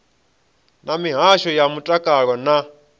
na mihasho ya mutakalo na